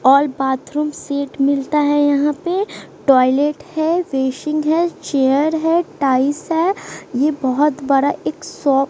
और bathroom seat मिलता है यहां पे टॉयलेट है बेसिन है चेयर है टाइल्स है ये बहोत बड़ा एक शा--